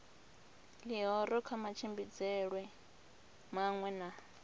ḽihoro kha matshimbidzelwe maṅwe na